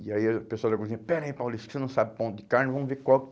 E aí o pessoal da cozinha, pera aí, Paulista, você não sabe o ponto de carne, vamos ver qual